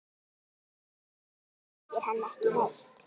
Hún þekkir hann ekki neitt.